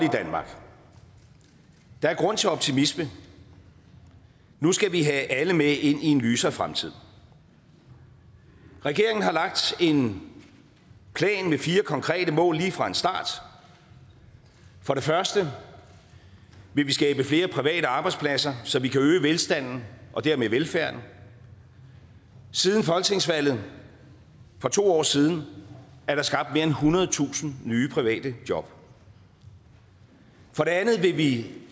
i danmark der er grund til optimisme nu skal vi have alle med ind i en lysere fremtid regeringen har lagt en plan med fire konkrete mål lige fra start for det første vil vi skabe flere private arbejdspladser så vi kan øge velstanden og dermed velfærden siden folketingsvalget for to år siden er der skabt mere end ethundredetusind nye private job for det andet vil vi